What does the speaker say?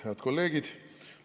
Head kolleegid!